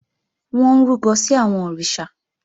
Wọ́n ń rúbọ sí àwọn òrìṣà